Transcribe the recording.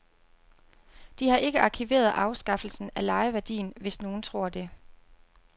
De har ikke arkiveret afskaffelsen af lejeværdien, hvis nogen tror det.